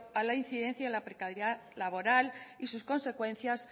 a la incidencia la precariedad laboral y sus consecuencias